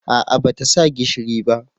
A'a ba ta sa gishiri ba